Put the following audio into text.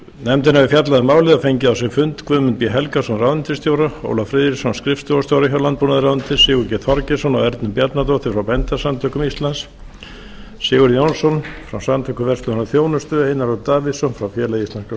nefndin hefur fjallað um málið og fengið á sinn fund guðmund b helgason ráðuneytisstjóra og ólaf friðriksson skrifstofustjóra frá landbúnaðarráðuneyti sigurgeir þorgeirsson og ernu bjarnadóttur frá bændasamtökum íslands sigurð jónsson frá samtökum verslunar og þjónustu einar örn davíðsson frá félagi íslenskra